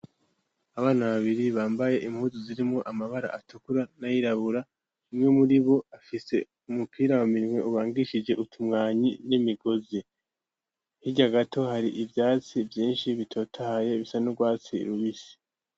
Abana babiri bambaye impuzu zirimwo amabara atukura nayirabura kumwe muri bo afise umupira wa mirimwe ubangishije utumwanyi y'imigozi ntirya gato hari ivyatsi vyinshi bitotahye bisa n'urwatsi rubisi.